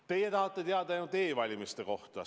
Teie tahate teada ainult e-valimiste kohta.